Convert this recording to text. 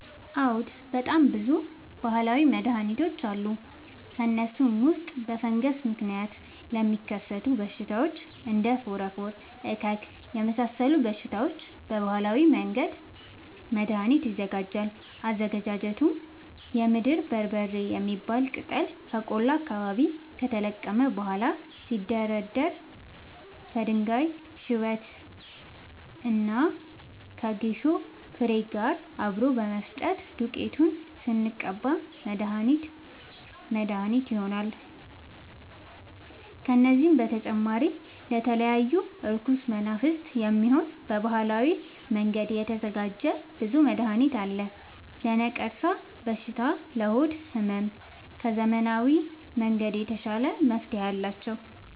አዎድ በጣም ብዙ በሀላዊ መድሀኒቶች አሉ ከእነሱም ውስጥ በፈንገስ ምክንያት ለሚከሰቱ በሽታዎች እንደ ፎረፎር እከክ የመሳሰሉ በሽታዎች በባህላዊ መንገድ መድሀኒት ይዘጋጃል አዘገጃጀቱም የምድር በርበሬ የሚባል ቅጠል ከቆላ አካባቢ ከተለቀመ በኋላ ሲደርዳ ከድንጋይ ሽበት እና ከጌሾ ፋሬ ጋር አብሮ በመፈጨት ዱቄቱን ስንቀባ መድሀኒት መድሀኒት ይሆነናል። ከዚህም በተጨማሪ ለተለያዩ እርኩስ መናፍት፣ የሚሆን በባህላዊ መንገድ የተዘጋጀ ብዙ መድሀኒት አለ። ለነቀርሻ በሽታ ለሆድ ህመም ከዘመናዊ መንገድ የተሻለ መፍትሄ አላቸው።